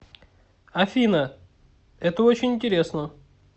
афина это очень интересно